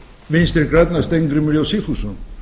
vinstri grænna steingrímur j sigfússon